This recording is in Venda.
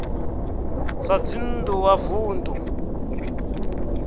zwa dzinn ḓu wa vunḓu